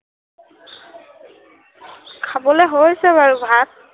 খাবলে হৈছে বাৰু ভাত